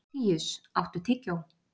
Fíus, áttu tyggjó?